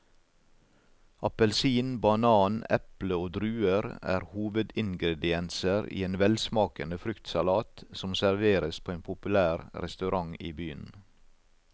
Appelsin, banan, eple og druer er hovedingredienser i en velsmakende fruktsalat som serveres på en populær restaurant i byen.